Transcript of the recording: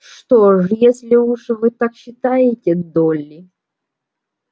что ж если уж вы так считаете долли